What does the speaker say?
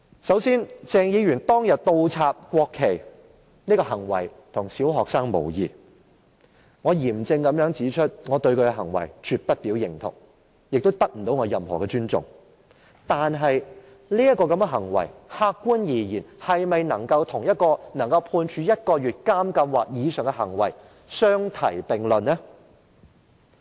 首先，鄭議員當天倒插國旗的行為跟小學生無異，我嚴正指出我對他的行為絕對不表認同，也不能得到我的尊重，但客觀而言，這種行為是否可以與足以被判處入獄1個月或以上的行為相提並論呢？